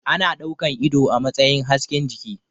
Ana ɗaukan ido a matsayin hasken jiki